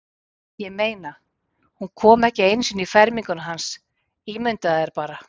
Ég meina, hún kom ekki einu sinni í ferminguna hans, ímyndaðu þér bara.